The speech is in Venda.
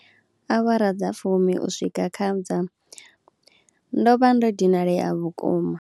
Awara dza fumi u swika kha dza, ndo vha ndo dinalea vhukuma.